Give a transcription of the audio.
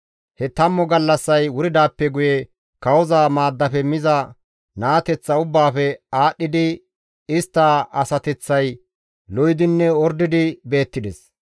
He tammu gallassay wuridaappe guye kawoza maaddafe miza naateththa ubbaafe aadhdhidi istta asateththay lo7idinne ordidi beettides.